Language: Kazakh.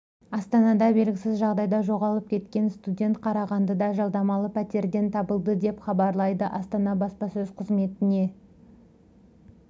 астанада белгісіз жағдайда жоғалып кеткен қаз студенті қарағандыда жалдамалы пәтерден табылды деп хабарлайды астана баспасөз қызметіне